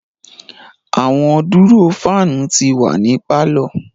Awọn duro fan ti wa ni parlour